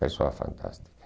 Pessoas fantásticas.